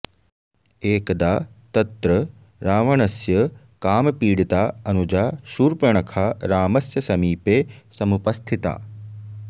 एकदा तत्र रावणस्य कामपीडिता अनुजा शूर्पणखा रामस्य समीपे समुपस्थिता